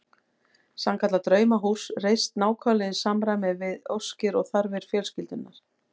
Sannkallað draumahús reist nákvæmlega í samræmi við óskir og þarfir fjölskyldunnar.